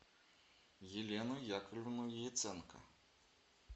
елену яковлевну яценко